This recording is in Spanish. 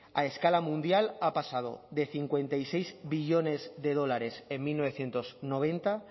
a escala mundial ha pasado de cincuenta y seis billones de dólares en mil novecientos noventa